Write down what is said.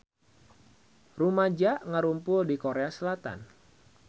Rumaja ngarumpul di Korea Selatan